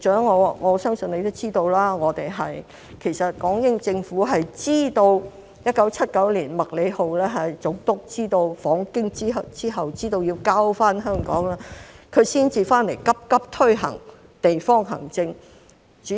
我相信局長也知道，港英政府在1979年麥理浩總督訪京之後知道要交回香港，才急急推行地方行政。